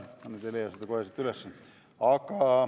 Ma nüüd ei leia seda kohe siit üles.